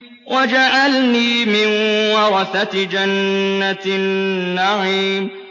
وَاجْعَلْنِي مِن وَرَثَةِ جَنَّةِ النَّعِيمِ